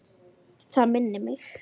Það minnir mig.